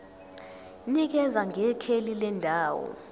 nikeza ngekheli lendawo